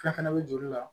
A fɛnɛ bɛ joli la